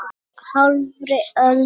Hálfri öld síðar.